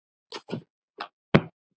Lengra yrði ekki komist.